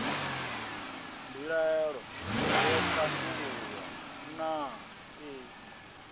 mbilaelo yo tandululwa naa ee